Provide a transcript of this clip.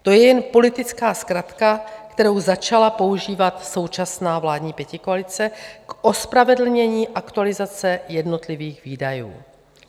To je jen politická zkratka, kterou začala používat současná vládní pětikoalice k ospravedlnění aktualizace jednotlivých výdajů.